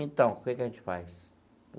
Então, o que que a gente faz?